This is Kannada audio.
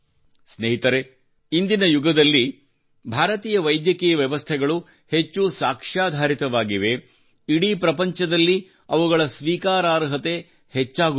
ಸ್ನೇಹಿತರೇ ಇಂದಿನ ಯುಗದಲ್ಲಿ ಭಾರತೀಯ ವೈದ್ಯಕೀಯ ವ್ಯವಸ್ಥೆಗಳು ಹೆಚ್ಚು ಸಾಕ್ಷ್ಯಾಧಾರಿತವಾಗಿವೆ ಇಡೀ ಪ್ರಪಂಚದಲ್ಲಿ ಅವುಗಳ ಸ್ವೀಕಾರಾರ್ಹತೆ ಹೆಚ್ಚಾಗುತ್ತದೆ